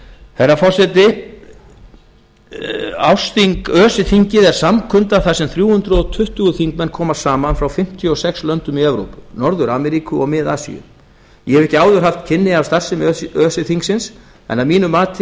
herra forseti öse þingið er samkunda þar sem þrjú hundruð tuttugu þingmenn koma saman frá fimmtíu og sex löndum í evrópu norður ameríku og mið asíu ég hef ekki áður haft kynni af starfsemi öse þingsins en að mínu mati er